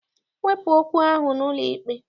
Wepụ okwu ahụ n'ụlọikpe!